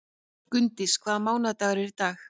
Gunndís, hvaða mánaðardagur er í dag?